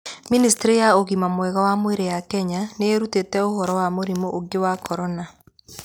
Ministry ya ugima mwega wa mwiri ya Kenya ni irutite uhoro wa murimu ungi wa corona.